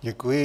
Děkuji.